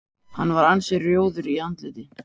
Hann var ansi rjóður í andliti.